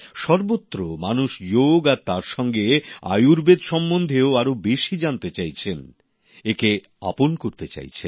সর্বত্র মানুষ যোগ আর তার সঙ্গে আয়ুর্বেদ সম্বন্ধেও আরও বেশি জানতে চাইছেন একে আপন করে নিতে চাইছেন